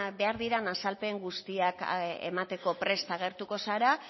behar diren azalpen guztiak emateko prest agertuko zara